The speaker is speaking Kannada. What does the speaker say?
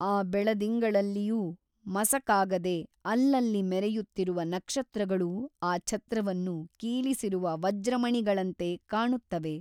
ಆ ಬೆಳದಿಂಗಳಲ್ಲಿಯೂ ಮಸಕಾಗದೆ ಅಲ್ಲಲ್ಲಿ ಮೆರೆಯುತ್ತಿರುವ ನಕ್ಷತ್ರಗಳೂ ಆ ಛತ್ರವನ್ನು ಕೀಲಿಸಿರುವ ವಜ್ರಮಣಿಗಳಂತೆ ಕಾಣುತ್ತವೆ.